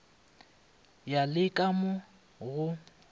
ya le ka mo go